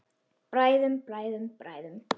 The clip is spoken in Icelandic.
Bræðum, bræðum, bræðum.